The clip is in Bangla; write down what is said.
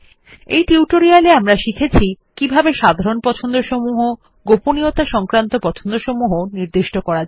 এই টিউটোরিয়াল এ আমরা শিখেছিকিভাবে সাধারণ পছন্দসমূহ গোপনীয়তা সংক্রান্ত পছন্দসমূহ নির্দিষ্ট করা হয়